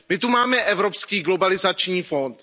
My tu máme Evropský globalizační fond.